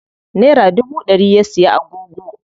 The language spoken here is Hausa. Nera dubu ɗari ya siya agogo.